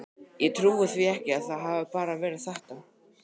Ég trúi því ekki að það hafi bara verið þetta.